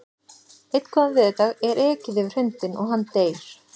Einn góðan veðurdag er ekið yfir hundinn og hann deyr.